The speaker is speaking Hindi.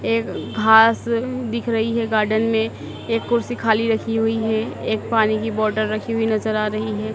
एक घास दिख रही है गार्डन में एक कुर्सी खाली रखी हुई है एक पानी की बॉटल रखी हुई नजर आ रही है।